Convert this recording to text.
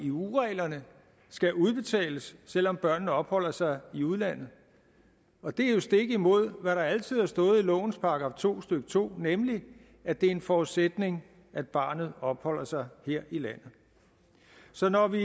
eu reglerne skal udbetales selv om børnene opholder sig i udlandet det er jo stik imod hvad der altid har stået i lovens § to stykke to nemlig at det er en forudsætning at barnet opholder sig her i landet så når vi